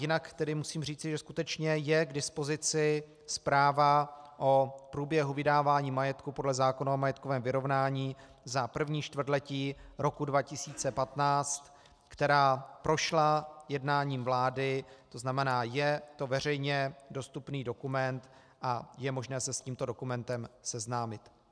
Jinak tedy musím říci, že skutečně je k dispozici zpráva o průběhu vydávání majetku podle zákona o majetkovém vyrovnání za první čtvrtletí roku 2015, která prošla jednáním vlády, to znamená je to veřejně dostupný dokument a je možné se s tímto dokumentem seznámit.